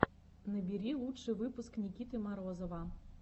набери лучший выпуск никиты морозова